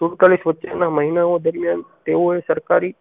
સુડતાલીસ વચ્ચે ના મહિનાઓ દરમિયાન તેઓએ સરકારી